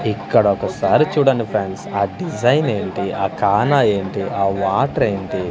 ఇక్కడొకసారి చూడండి ఫ్రెండ్స్ ఆ డిజైన్ ఏంటి ఆ కానా ఏంటి ఆ వాటర్ ఏంటి.